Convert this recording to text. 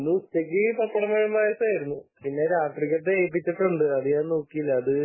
ഇന്ന് ഉച്ചക്ക് പപ്പടം പഴം പായസം ആയിരുന്നു പിന്നെ രാത്രിക്കത്തെ ഏൽപ്പിച്ചിട്ടുണ്ട് . ഞാൻ നോക്കിയില്ല